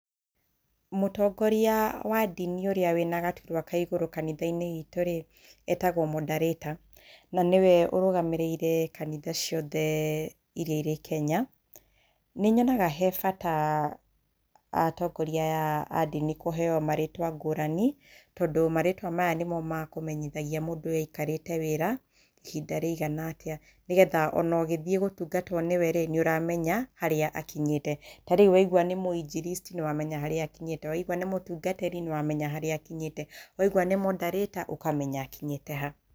Mũtongoria wa ndini ũrĩa wĩna gaturwa kaigũrũ kanitha-inĩ witũ rĩ, etagwo Moderator. Na nĩwe ũrũgamĩrĩire kanitha ciothe iria irĩ Kenya. Nĩ nyonaga harĩ bata atongoria aya a ndini kũheyo marĩtwa ngũrani. Tondũ marĩtwa maya nĩmo makũmenyithagia ũrĩa mũndũ ũyũ aikarĩke wĩra ihinda rĩigana atĩa, nĩgetha ona ũgĩthiĩ gũtungatwo nĩwe rĩ, nĩ ũramenya harĩa akinyĩte. Tarĩu waigua nĩ Mũinjiristi, nĩ wamenya harĩa akĩnyĩte, akorwo nĩ mũtungatĩri, nĩ ũramenya harĩa akinyĩte, waigua nĩ Moderator ũkamenya akinyĩte ha.